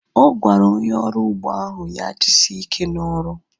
Ọ gwara onye ọrụ ugbo ahụ ya jisie ike na ọrụ